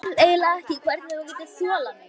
Ég skil eiginlega ekki hvernig þú getur þolað mig.